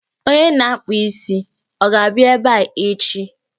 Onye na-akpụ isi, ọ ga-abịa ebe a echi?